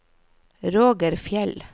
Roger Fjeld